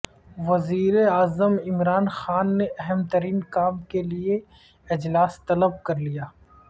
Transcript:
وزیراعظم عمران خان نے اہم ترین کام کیلئے اجلاس طلب کر لیا